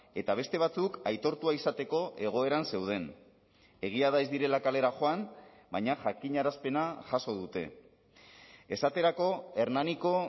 eta beste batzuk aitortua izateko egoeran zeuden egia da ez direla kalera joan baina jakinarazpena jaso dute esaterako hernaniko